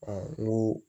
n ko